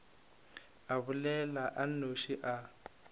a bolela a nnoši a